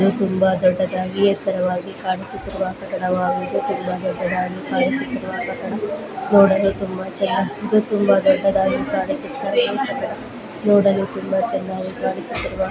ಇದು ತುಂಬಾ ದೊಡ್ಡದಾಗಿ ಎತ್ತರವಾಗಿ ಕಾಣಿಸುತ್ತಿರುವ ಕಟ್ಟಡ ತುಂಬಾ ದೊಡ್ಡದಾಗಿ ಕಾಣಿಸುತ್ತಿರುವ ಕಟ್ಟಡ ನೋಡಲು ತುಂಬಾ ಚೆನ್ನಾಗಿದ್ದು ತುಂಬಾ ದೊಡ್ಡದಾಗಿದ್ದು ನೋಡಲು ತುಂಬಾ ಚೆನ್ನಾಗಿ ಕಾಣಿಸುತ್ತಿರುವ--